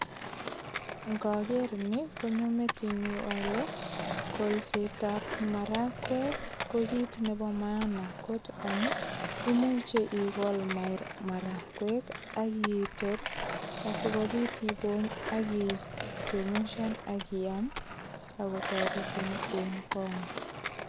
Ingoker ni konyo metinyu ale kolsetab marakwek ko kit nebo maana kot amun imuch igol marakwek ak itor ak ibony asigopit ichemushan ak iam. Ago toretin en kongong